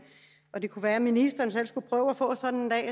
og det kunne være ministeren selv skulle prøve at få sådan